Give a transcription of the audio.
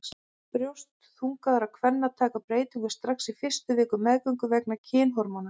Brjóst þungaðra kvenna taka breytingum strax á fyrstu vikum meðgöngu vegna kynhormóna.